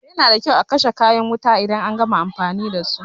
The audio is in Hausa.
Yana da kyau a kashe kayan wuta idan an gama amfani dasu.